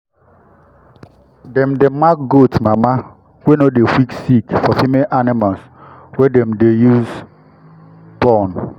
dem dey mark goat mama wey no dey quick sick for female animals wey dem dey use born.